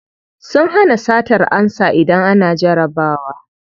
Sun hana satar ansa idan ana jarabawa.